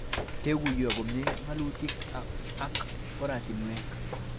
Kekuyo komie, ng'atutik ak oratinwek